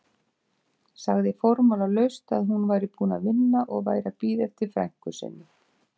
Sagði formálalaust að hún væri búin að vinna og væri að bíða eftir frænku sinni.